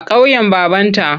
A ƙauyen babanta.